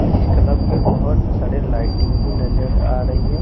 और इस कलब में बोहोत सारे लाइटिंग भी नज़र आ रही है।